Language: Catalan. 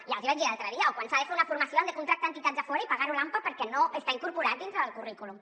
ja els hi vaig dir l’altre dia quan s’ha de fer una formació han de contractar entitats de fora i pagar ho l’ampa perquè no està incorporat dintre del currículum